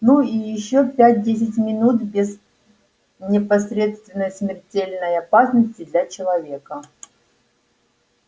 ну и ещё пять-десять минут без непосредственной смертельной опасности для человека